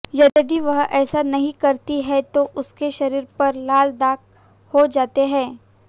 यदि वह ऐसा नहीं करती है तो उसके शरीर पर लाल दाग हो जाते हैं